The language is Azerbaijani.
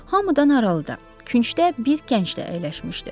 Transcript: Hamıdan aralıda, küncdə bir gənc də əyləşmişdi.